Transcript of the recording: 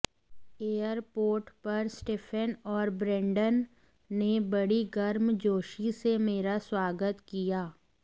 airport पर Stephen औरब्रेंडन ने बड़ी गर्मजोशी से मेरा स्वागत किया